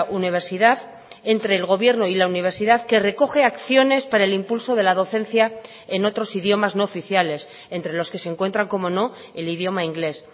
universidad entre el gobierno y la universidad que recoge acciones para el impulso de la docencia en otros idiomas no oficiales entre los que se encuentran cómo no el idioma inglés